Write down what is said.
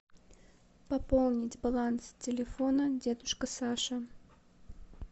пополнить баланс телефона дедушка саша